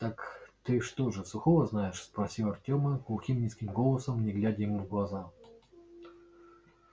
так ты что же сухого знаешь спросил артема глухим низким голосом не глядя ему в глаза